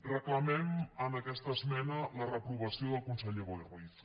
reclamem amb aquesta esmena la reprovació del conseller boi ruiz